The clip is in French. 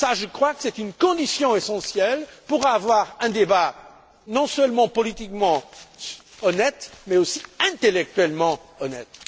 Cela, je crois que c'est une condition essentielle pour avoir un débat, non seulement politiquement honnête, mais aussi intellectuellement honnête.